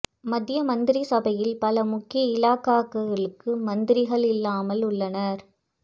மத்திய மந்திரி சபையில் பல முக்கிய இலாகாக்களுக்கு மந்திரிகள் இல்லாமல் உள்ளனர்